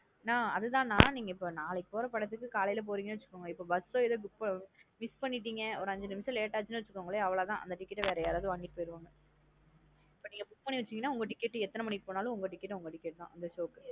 நா அது தான் நா நீங்கா இப்ப நாளைக்கு போற படத்துக்கு காலைல போறீங்கனு வச்சுகொங்கன்ன இப்போ first show miss பண்ணிடிங்க ஒரு ஐந்து நிமிஷம் late ஆச்சு வச்சுகோங்களே அவ்ளோதான் அந்த ticket வேற யாராவது வாங்கிட்டு போயிருவங்க but இப்ப நீங்க book பண்ணி வச்சிங்கான உங்க ticket எத்தன மணிக்கு போனாலும் உங்க ticket உங்க ticket தான் இந்த show க்கு